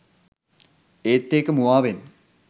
ඒත් ඒක මුවාවෙන්